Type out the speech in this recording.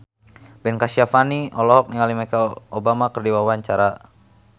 Ben Kasyafani olohok ningali Michelle Obama keur diwawancara